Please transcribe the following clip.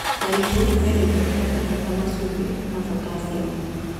Marigũ mena indo cia bata ta macumbĩ ta botaciamu